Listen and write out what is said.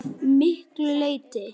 Það tókst að miklu leyti.